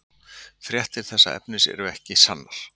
Fréttir þess efnis eru ekki sannar.